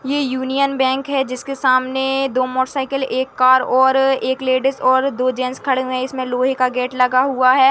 ये Union Bank है जिसके सामने दो मोटर साइकिल एक कार और एक लेडिज और दो जैंट्स खड़े हुए है इसमे लोहे का गेट लगा हुआ है।